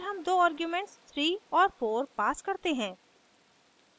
फिर हम दो आर्ग्यूमेंट्स 3 और 4 pass करते हैं